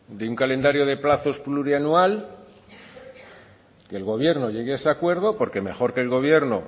de un calendario de plazos plurianual y el gobierno llegue a ese acuerdo porque mejor que el gobierno